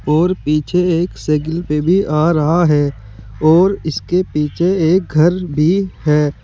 और पीछे एक साइकिल पे भी आ रहा है और इसके पीछे एक घर भी है।